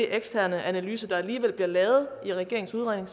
eksterne analyse der alligevel bliver lavet i regeringens udredning